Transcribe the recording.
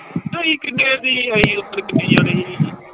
ਤੇ ਅਸੀਂ ਕਿੰਨੇ ਦੀ ਅਸੀਂ ਓਦਣ ਕਿੰਨੇ ਜਾਣੇ ਸੀ।